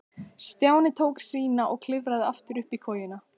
Stjáni tók sína og klifraði aftur upp í kojuna.